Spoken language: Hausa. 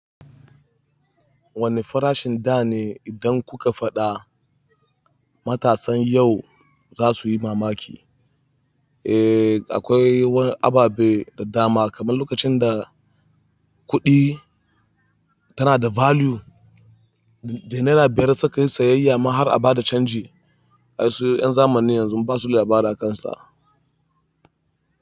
Wane farashin da ne idan kuka faɗa matasan yau za su yi mamaki? Eh akwai wani ababe da dama kamar lokacin da kuɗi tana da value, da naira biyar sai kayi sayayya ma har a ba da canji. Ai su 'yan zamanin yanzu basu da labari a kansa.